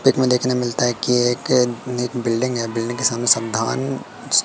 pick में देखने मिलता है कि एक बिल्डिंग है बिल्डिंग के सामने --